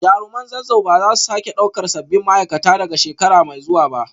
Jaruman Zazzau ba za su sake daukar sabbin ma’aikata daga shekara mai zuwa ba